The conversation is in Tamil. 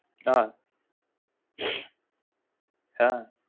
அ அ